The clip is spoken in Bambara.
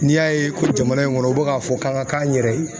N'i y'a ye ko jamana in kɔnɔ u bi k'a fɔ k'an ka k'an yɛrɛ ye